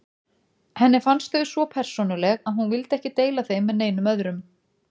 Henni fannst þau svo persónuleg að hún vildi ekki deila þeim með neinum öðrum.